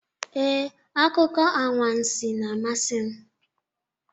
Ee, akụkọ anwansi na-amasị m.